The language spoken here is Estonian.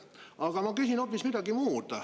Aga ma küsin hoopis midagi muud.